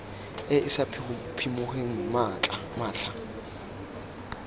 e e sa phimogeng matlha